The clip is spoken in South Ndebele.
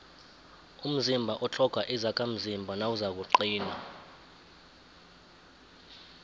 umzimba utlhoga izakhamzimba nawuzakuqina